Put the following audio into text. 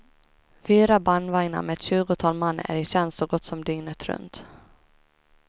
Fyra bandvagnar med ett tjugotal man är i tjänst så gott som dygnet runt.